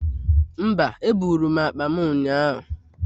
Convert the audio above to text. Mba, eburu m akpa m ụnyaahụ